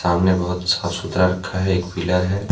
सामने बहोत साफ सुथरा रखा है एक पिलर है।